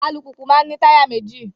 Alùpùpù maa n ní táyà méjì